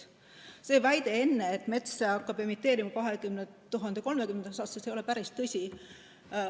See väide enne, et mets hakkab emiteerima 2030. aastaks, ei ole päris õige.